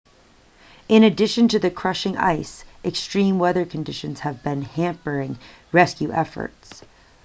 in addition to the crushing ice extreme weather conditions have been hampering rescue efforts